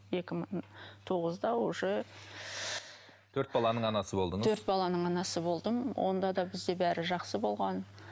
екі мың тоғызда уже төрт баланың анасы болдыңыз төрт баланың анасы болдым онда да бізде бәрі жақсы болған